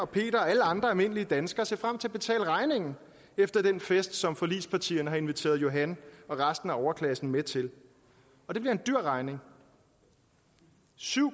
peter og alle andre almindelige danskere se frem til at betale regningen efter den fest som forligspartierne har inviteret johan og resten af overklassen med til og det bliver en dyr regning syv